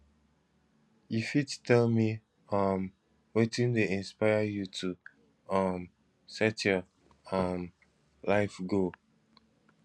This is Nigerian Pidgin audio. you fit tell me um wetin dey inspire you to um set your um life goal